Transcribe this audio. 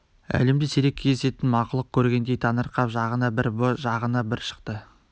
әлемде сирек кездесетін мақұлық көргендей таңырқап жағына бір бұ жағына бір шықты